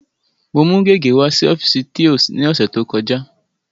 Mo mú gègé wá sí ọ́fíìsì thios ní ọ̀sẹ̀ tó kọjá.